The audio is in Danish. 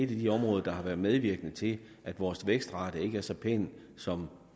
de områder der har været medvirkende til at vores vækstrate ikke er så pæn som